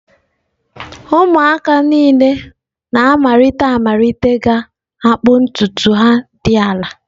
Ụmụaka niile na-amalite amalite ga-akpụ ntutu ha dị ala.